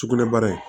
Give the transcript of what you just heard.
Sugunɛbara in